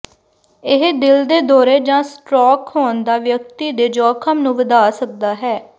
ਇਹ ਦਿਲ ਦੇ ਦੌਰੇ ਜਾਂ ਸਟ੍ਰੋਕ ਹੋਣ ਦਾ ਵਿਅਕਤੀ ਦੇ ਜੋਖਮ ਨੂੰ ਵਧਾ ਸਕਦਾ ਹੈ